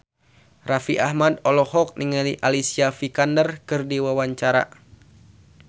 Raffi Ahmad olohok ningali Alicia Vikander keur diwawancara